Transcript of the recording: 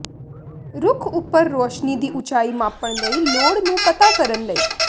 ਰੁਖ ਉਪਰ ਰੋਸ਼ਨੀ ਦੀ ਉਚਾਈ ਮਾਪਣ ਲਈ ਲੋੜ ਨੂੰ ਪਤਾ ਕਰਨ ਲਈ